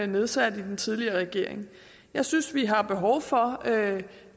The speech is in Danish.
nedsatte i den tidligere regering jeg synes vi har behov for